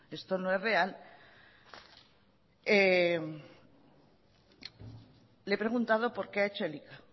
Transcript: esto no es real le he preguntado por qué ha hecho elika